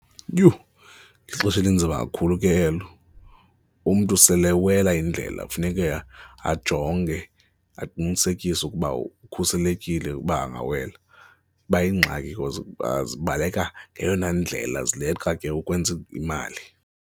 Yhu! Lixesha elinzima kakhulu ke elo, umntu sele ewela indlela kufuneke ajonge, aqinisekise ukuba ukhuselekile ukuba angawela. Iba yingxaki because zibaleka ngeyona indlela zileqa ke ukwenza imali.